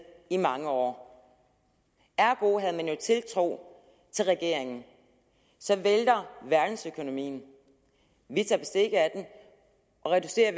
i mange år ergo havde man jo tiltro til regeringen så vælter verdensøkonomien vi tager bestik af den og reducerer